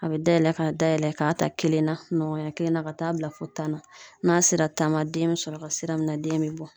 A be dayɛlɛ k'a dayɛlɛ ka ta kelen na, ɲɔgɔnya kelen na ka taa bila fo tan ma .N'a sera tan ma den be sɔrɔ ka sira minɛ den be bɔ.